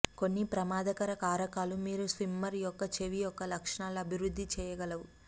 కొన్ని ప్రమాదకర కారకాలు మీరు స్విమ్మర్ యొక్క చెవి యొక్క లక్షణాలు అభివృద్ధి చేయగలవు